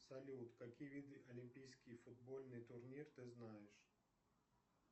салют какие виды олимпийский футбольный турнир ты знаешь